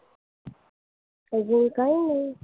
अजून काही नाही.